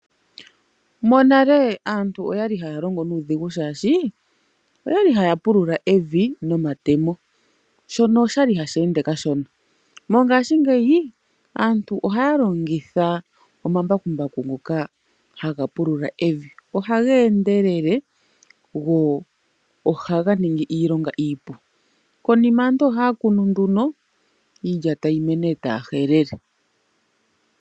Monale aantu oyali haya longo nuudhigu shaashi ,oyali haya pulula evi nomatemo .Shono oshali hashi ende kashona. Mongaashingeyi aantu ohaya longitha omambakumbaku ngoka haga pulula evi .Ohaga endelele go ohaga ningi iilonga iipu. Konima aantu ohaya kunu nduno, iilya etayi mene etaya helele.